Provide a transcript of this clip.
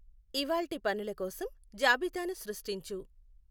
ఇవాళ్టి పనుల కోసం జాబితాను సృష్టించు.